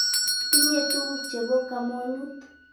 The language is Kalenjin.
Tinye tukuk che po kamonut.